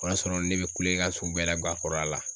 O y'a sɔrɔ ne bɛ kulekan sugu bɛɛ guwa kɔrɔ a la.